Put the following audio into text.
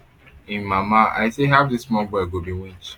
im mama i say how dis small small boy go be winch